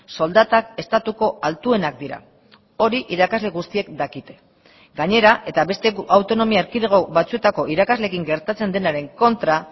soldatak estatuko altuenak dira hori irakasle guztiek dakite gainera eta beste autonomia erkidego batzuetako irakasleekin gertatzen denaren kontra